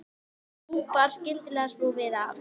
En nú bar skyndilega svo við að